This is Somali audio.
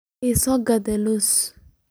Iisokat loosay.